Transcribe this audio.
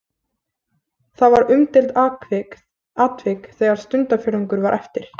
Það var umdeild atvik þegar stundarfjórðungur var eftir.